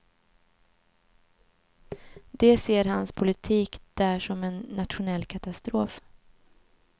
De ser hans politik där som en nationell katastrof.